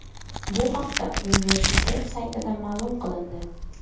Bu haqda universitet saytida ma’lum qilindi .